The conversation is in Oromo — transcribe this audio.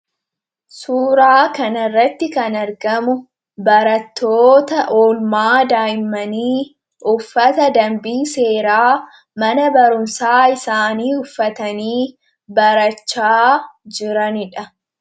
Suuraa kana irratti kan argamu, barattoota oolmaa daa'immanii uffata dambii seeraa mana barumsaa isaanii uffatanii barachaa jiranidha.